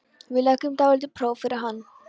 Við leggjum dálítið próf fyrir hann.